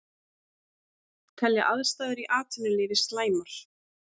Telja aðstæður í atvinnulífi slæmar